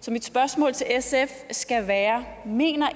så mit spørgsmål til sf skal være mener